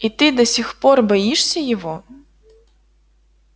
и ты до сих пор боишься его